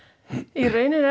í raun er